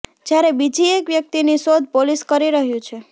જ્યારે બીજી એક વ્યક્તિની શોધ પોલીસ કરી રહ્યું છે